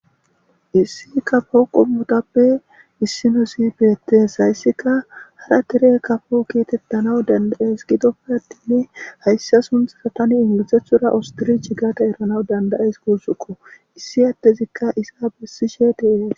Issi kaffo qommotappe issa gidees izzikka harra derre kaffo qommo gettetanaw danda77ees giddippe attin hyssa suntha engilizethorra ostrichegadda ekkanw danda77ays gussikko.